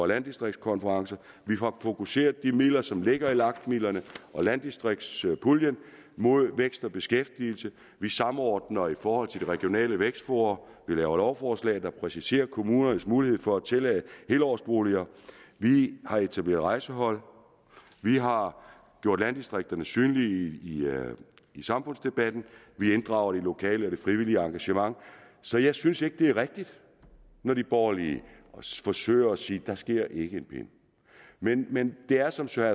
landdistriktskonference vi får fokuseret de midler som ligger i lag midlerne og landdistriktspuljen mod vækst og beskæftigelse vi samordner i forhold til de regionale vækstfora vi laver lovforslag der præciserer kommunernes mulighed for at tillade helårsboliger vi har etableret rejsehold vi har gjort landdistrikterne synlige i samfundsdebatten vi inddrager det lokale og det frivillige engagement så jeg synes ikke det er rigtigt når de borgerlige forsøger at sige at der ikke sker en pind men men det er som søren